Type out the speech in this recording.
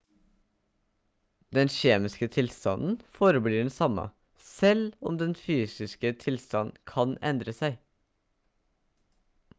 den kjemiske tilstanden forblir den samme selv om dens fysiske tilstand kan endre seg